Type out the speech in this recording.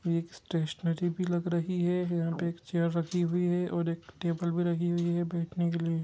एक स्टेशनरी भी लग रही है यहां पर चेयर रखी हुई है और एक टेबल भी रखी हुई है बैठने के लिए।